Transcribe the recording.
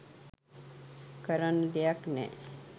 කරන්න දෙයක් නෑ.